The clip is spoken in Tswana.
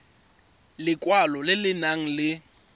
lekwalo le le nang le